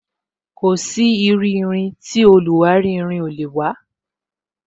Kò sí iru irin tí irin oluwari ò lè wa